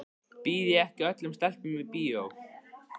Býð ég ekki öllum stelpum í bíó?